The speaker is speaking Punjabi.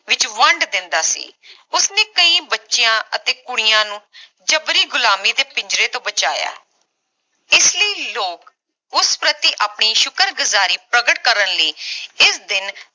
ਵਿਚ ਵੰਢ ਦਿੰਦਾ ਸੀ ਉਸਨੇ ਕਈ ਬੱਚਿਆਂ ਅਤੇ ਕੁੜੀਆਂ ਨੂੰ ਜਬਰੀ ਗੁਲਾਮੀ ਦੇ ਪਿੰਜਰੇ ਤੋਂ ਬਚਾਇਆ ਇਸਲਈ ਲੋਕ ਉਸ ਪ੍ਰਤੀ ਆਪਣੀ ਸ਼ੁਕਰਗੁਜ਼ਾਰੀ ਪ੍ਰਕਟ ਕਰਨ ਲਈ ਇਸ ਦਿਨ